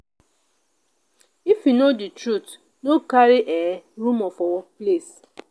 if you no know di truth no go carry um rumor for workplace.